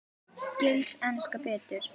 Skilst enskan betur?